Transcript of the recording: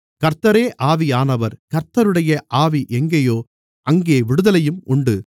கர்த்தரே ஆவியானவர் கர்த்தருடைய ஆவி எங்கேயோ அங்கே விடுதலையும் உண்டு